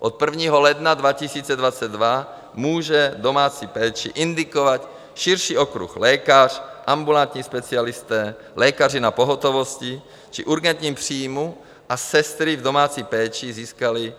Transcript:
Od 1. ledna 2022 může domácí péči indikovat širší okruh: lékař, ambulantní specialisté, lékaři na pohotovosti či urgentním příjmu, a sestry v domácí péči získaly